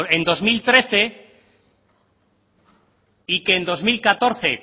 en dos mil trece y que en dos mil catorce